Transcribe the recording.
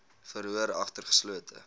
verhoor agter geslote